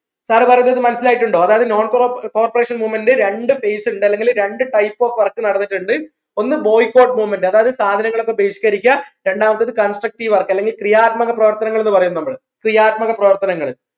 sir പറഞ്ഞത് മനസ്സിലായിട്ടുണ്ടോ അതായത് non crop corporation movement രണ്ട് phase ഇണ്ട് അല്ലെങ്കിൽ രണ്ട് type of work നടന്നിട്ടുണ്ട് ഒന്ന് boycott movement അതായത് സാധനങ്ങളൊക്കെ ബഹിഷ്കരിക്കുക രണ്ടാമത്തേത് constructive work അല്ലെങ്കിൽ ക്രിയാത്മക പ്രവർത്തനങ്ങൾ എന്ന് പറയും നമ്മൾ ക്രിയാത്മക പ്രവർത്തനങ്ങൾ